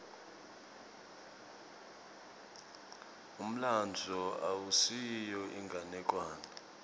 umlandvo awusiyo inganekwane